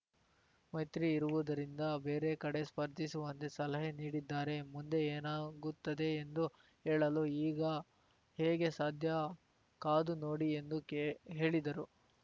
ಮೈತ್ರಿ ಇರುವುದರಿಂದ ಬೇರೆ ಕಡೆ ಸ್ಪರ್ಧಿಸುವಂತೆ ಸಲಹೆ ನೀಡಿದ್ದಾರೆ ಮುಂದೆ ಏನಾಗುತ್ತದೆ ಎಂದು ಹೇಳಲು ಈಗ ಹೇಗೆ ಸಾಧ್ಯ ಕಾದು ನೋಡಿ ಎಂದು ಕೇ ಹೇಳಿದರು